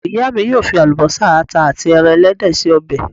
Ìyá mi yóò fi àlùbọ́sà, àta àti ẹran ẹlẹ́dẹ̀ ṣe ọbẹ̀.